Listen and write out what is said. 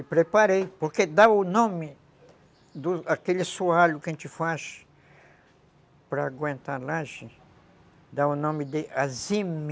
E preparei, porque dá o nome daquele assoalho que a gente faz para aguentar laje, dá o nome de.